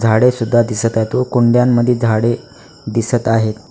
झाडे सुद्धा दिसत आहे व कुंड्यांमध्ये झाडे दिसत आहेत.